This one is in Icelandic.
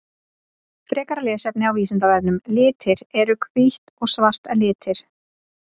Frekara lesefni á Vísindavefnum Litir Eru hvítt og svart litir?